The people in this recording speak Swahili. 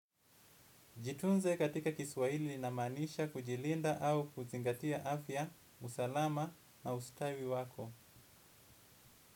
Jitunze katika kiswahili inamaanisha kujilinda au kuzingatia afya, usalama na ustawi wako.